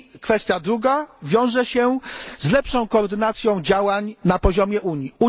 Sprawa druga wiąże się z lepszą koordynacją działań na poziomie Unii.